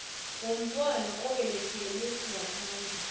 womntwana obelethelwe ngaphandle